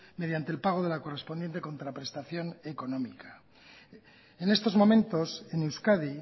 mediante el pago de la correspondiente contraprestación económica en estos momentos en euskadi